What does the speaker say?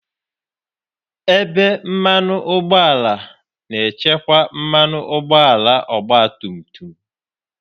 Ebe mmanụ ụgbọala na-echekwa mmanụ ụgbọala ọgba tum tum.